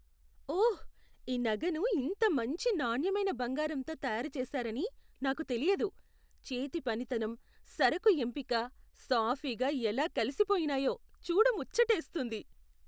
ఓహ్, ఈ నగను ఇంత మంచి నాణ్యమైన బంగారంతో తయారు చేసారని నాకు తెలియదు. చేతి పనితనం, సరకు ఎంపిక సాఫీగా ఎలా కలిసిపోయినాయో చూడ ముచ్చటేస్తుంది .